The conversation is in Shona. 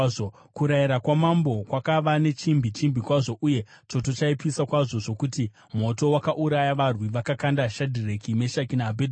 Kurayira kwamambo kwakava nechimbi chimbi kwazvo uye choto chaipisa kwazvo zvokuti moto wakauraya varwi vakakanda Shadhireki, Meshaki naAbhedhinego,